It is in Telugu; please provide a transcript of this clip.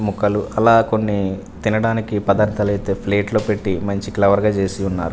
మొక్కలు అలా కొన్ని తినడానికి పదార్థాలు అయితే ప్లేట్లో పెట్టి మంచి క్లవర్ గా చేసి ఉన్నారు.